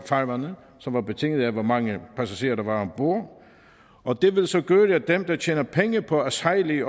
farvande som var betinget af hvor mange passagerer der var om bord og det vil så gøre at dem der tjener penge på at sejle i